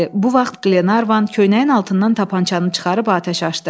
Bu vaxt Qlenarvan köynəyin altından tapançanı çıxarıb atəş açdı.